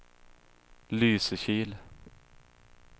Lysekil